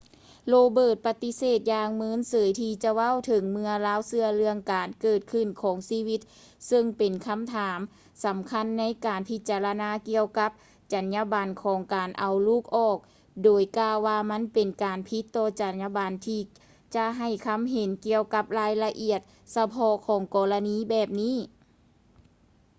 roberts ປະຕິເສດຢ່າງເມີນເສີຍທີ່ຈະເວົ້າເຖິງເມື່ອລາວເຊື່ອເລື່ອງການເກີດຂຶ້ນຂອງຊີວິດເຊິ່ງເປັນຄຳຖາມສຳຄັນໃນການພິຈາລະນາກ່ຽວກັບຈັນຍາບັນຂອງການເອົາລູກອອກ ໂດຍກ່າວວ່າມັນເປັນການຜິດຕໍ່ຈັນຍາບັນທີ່ຈະໃຫ້ຄຳເຫັນກ່ຽວກັບລາຍລະອຽດສະເພາະຂອງກໍລະນີແບບນີ້